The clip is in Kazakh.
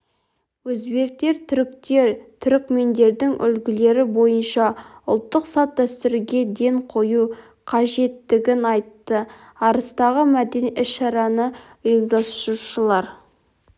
өзбектер түріктер түрікмендердің үлгілері бойынша ұлттық салт-дәстүрге ден қою қажеттігін айтты арыстағы мәдени іс-шараны ұйымдастырушылар